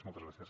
moltes gràcies